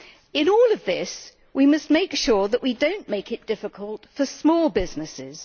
In all of this, we must make sure that we do not make it difficult for small businesses.